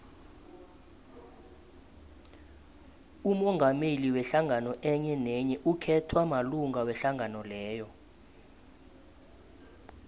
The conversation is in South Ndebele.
umongameli wehlangano enyenenye ukhethwa malunga wehlangano leyo